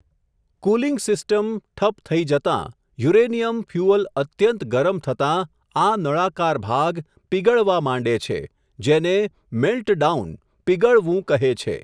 Cooling system, ઠપ થઈ જતા, યુરેનિયમ ફ્યુઅલ અત્યંત ગરમ થતા, આ નળાકાર ભાગ, પીગળવા માંડે છે, જેને, મેલ્ટડાઉન, પીગળવું, કહે છે.